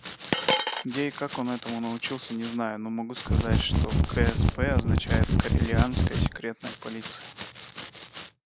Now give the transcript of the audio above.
где и как он этому научился не знаю но могу сказать что ксп означает корелианская секретная полиция